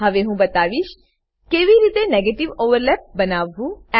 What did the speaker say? હવે હું બતાવીશ કેવી રીતે નેગેટિવ ઓવરલેપ બનાવવું